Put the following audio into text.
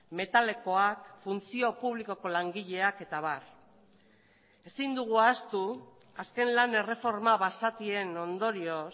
metalekoak funtzio publikoko langileak eta abar ezin dugu ahaztu azken lan erreforma basatien ondorioz